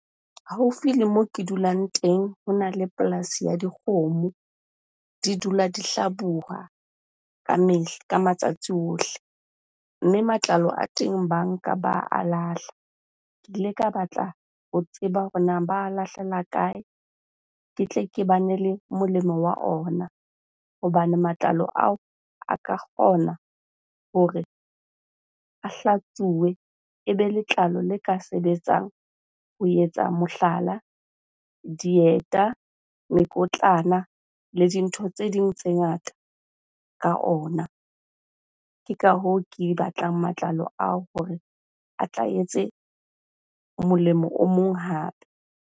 Haufi le moo ke dulang teng hona le polasi ya dikgomo. Di dula di hlabuwa kamehla, ka matsatsi ohle. Mme matlalo a teng ba a nka ba a lahla. Ke ile ka batla ho tseba hore nang ba lahlela kae? Ke tle ke bane le molemo wa ona hobane matlalo ao a ka kgona hore a hlatsuwe, ebe letlalo le ka sebetsang ho etsa mohlala dieta, mekotlana le dintho tse ding tse ngata ka ona. Ke ka hoo ke batlang matlalo ao hore a tla etse molemo o mong hape.